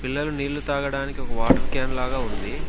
పిల్లలు నీళ్ళు తాగడానికి ఒక వాటర్ క్యాన్ లాగా ఉంది.